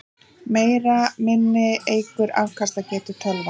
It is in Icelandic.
Meira minni eykur afkastagetu tölva.